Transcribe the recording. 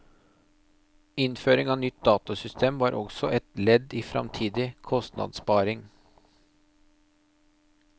Innføring av nytt datasystem var også et ledd i framtidig kostnadssparing.